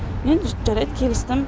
мен жарайды келістім